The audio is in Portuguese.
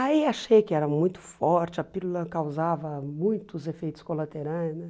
Aí achei que era muito forte, a pílula causava muitos efeitos colaterais, né?